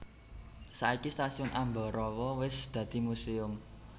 Saiki Stasiun Ambarawa wis dadi museum